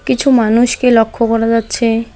কিছু মানুষকে লক্ষ্য করা যাচ্ছে।